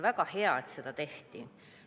Väga hea, et seda tehti.